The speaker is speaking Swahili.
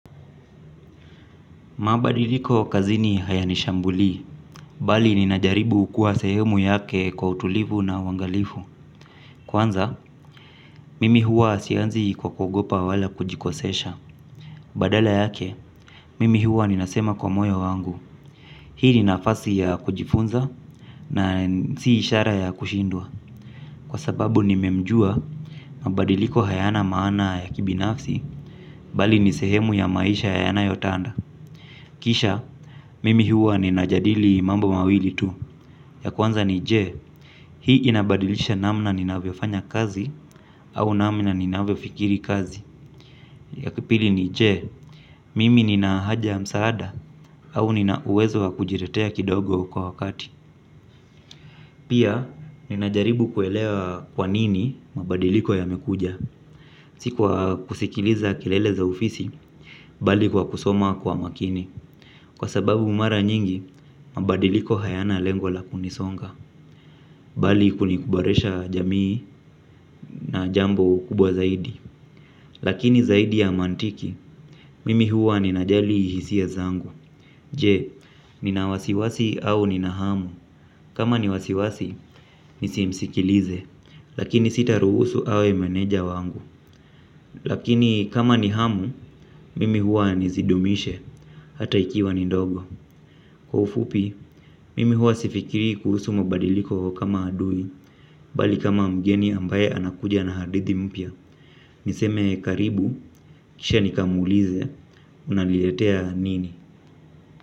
Mabadiliko kazini hayanishambulii, bali ninajaribu kuwa sehemu yake kwa utulivu na uangalifu. Kwanza, mimi huwa sianzi kwa kuogopa wala kujikosesha. Badala yake mimi huwa ninasema kwa moyo wangu hii ni nafasi ya kujifunza na si ishara ya kushindwa kwa sababu nimemjua, mabadiliko hayana maana ya kibinafsi, bali ni sehemu ya maisha yanayotanda. Kisha, mimi huwa ninajadili mambo mawili tu. Ya kwanza ni je, hii inabadilisha namna ninavyofanya kazi au namna ninavyofikiri kazi, ya kipili ni je, mimi nina haja ya msaada au nina uwezo wa kujitetea kidogo kwa wakati pia ninajaribu kuelewa kwa nini mabadiliko yamekuja si kwa kusikiliza kelele za ufisi, bali kwa kusoma kwa makini kwa sababu mara nyingi, mabadiliko hayana lengo la kunisonga bali kuniboresha jamii na jambo kubwa zaidi lakini zaidi ya mantiki mimi huwa ninajali ihisia zangu je, nina wasiwasi au nina hamu kama ni wasiwasi, nisimsikilize lakini sitaruhusu awe meneja wangu lakini kama ni hamu mimi huwa nizidumishe hata ikiwa ni ndogo. Kwa ufupi mimi huwa sifikiri kuhusu mabadiliko kama adui bali kama mgeni ambaye anakuja na hadithi mpya niseme karibu kisha nikamuulize unaliletea nini.